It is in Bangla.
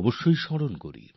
অবশ্যই মনে পড়ে যায়